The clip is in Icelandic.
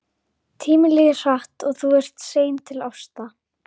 Tíminn líður hratt og þú ert sein til ásta.